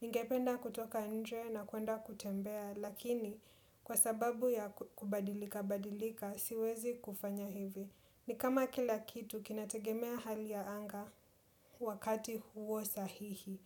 Ningependa kutoka nje na kuenda kutembea, lakini kwa sababu ya kubadilika badilika, siwezi kufanya hivi. Ni kama kila kitu kinategemea hali ya anga wakati huo sahihi.